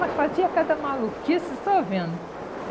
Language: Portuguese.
Mas fazia cada maluquice só vendo.